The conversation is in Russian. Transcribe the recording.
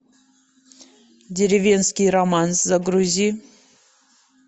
деревенский романс загрузи